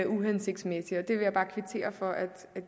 uhensigtsmæssigt jeg vil bare kvittere for at